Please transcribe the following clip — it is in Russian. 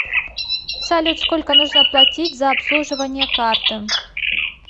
салют сколько нужно платить за обслуживание карты